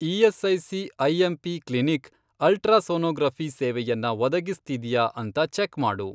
ESIC. IMP. Clinic ultrasonography ಸೇವೆಯನ್ನ ಒದಗಿಸ್ತಿದ್ಯಾ ಅಂತ ಚೆಕ್ ಮಾಡು.